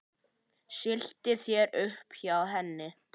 Stilltu þér upp hjá henni.